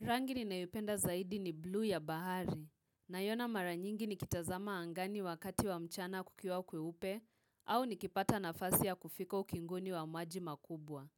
Rangi ni naipenda zaidi ni blue ya bahari, na yona mara nyingi ni kitazama angani wakati wa mchana kukiwa kwe upe, au nikipata nafasi ya kufiko ukinguni wa maji makubwa.